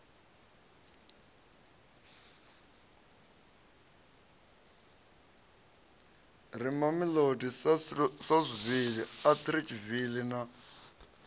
re mamelodi saulsville atteridgeville na